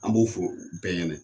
An b'o fo bɛɛ ɲɛnɛ.